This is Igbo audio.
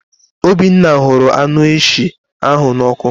Obinna hụrụ anụ eshị ahụ nnọ ọkụ.